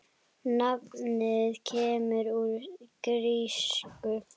Nafnið kemur úr grísku